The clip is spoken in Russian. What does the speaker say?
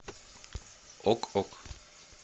ок ок